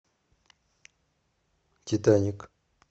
титаник